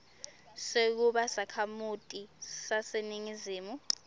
sekuba sakhamuti saseningizimu